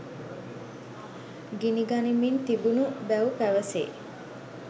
ගිනිගනිමින් තිබුණු බැව් පැවසේ